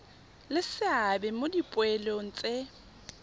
le seabe mo dipoelong tse